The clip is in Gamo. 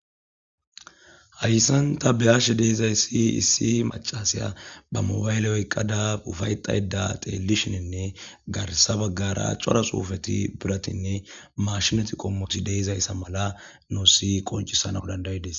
Hayssan ta be'ashe de'zayssi issi mac'c'asiya ba mobile oyqqada uffaydhayda tselishinne garssa baagara c'ora xuufeti biirattine maashinetti qommotti de'izayssa mala nuussi qonc'c'isanaw danda'ides.